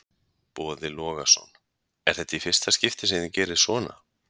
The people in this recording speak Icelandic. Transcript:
Boði Logason: Er þetta í fyrsta skipti sem þið gerið svona?